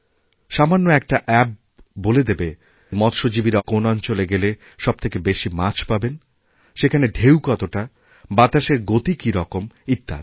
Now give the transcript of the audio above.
সামান্য একটা অ্যাপবলে দেবে মৎস্যজীবীরা কোন অঞ্চলে গেলে সব থেকে বেশি মাছ পাবেন সেখানে ঢেউ কতটাবাতাসের গতি কী রকম ইত্যাদি